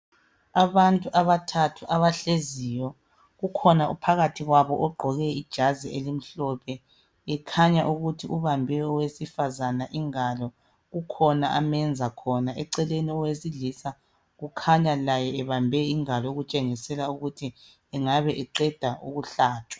Abantu abathathu abahleziyo. Kukhona ophakathi kwabo ogqoke ijazi elimhlophe, ekhanya ukuthi ubambe owesifazana ingalo. Kukhona amenza khona. Eceleni owesilisa kukhanya laye ebambe ingalo okutshengisela ukuthi engabe eqeda ukuhlatshwa.